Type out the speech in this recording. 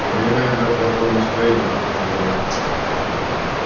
у меня наверное плохое настроение буркнул я